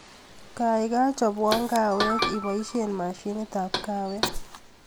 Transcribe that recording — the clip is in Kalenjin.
Gaigai chopwon kaawek iboishen mashinitab kaawek